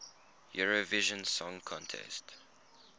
eurovision song contest